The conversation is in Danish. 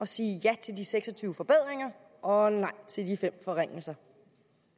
sige ja til de seks og tyve forbedringer og nej til de fem forringelser